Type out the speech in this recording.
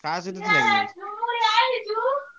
କାହା ସହିତ ଥିଲା କି?